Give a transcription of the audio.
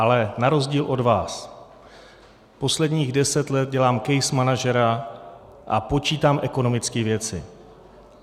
Ale na rozdíl od vás posledních deset let dělám case managera a počítám ekonomické věci.